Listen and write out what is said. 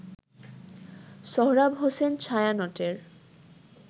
Sohrab Hossain ছায়ানটের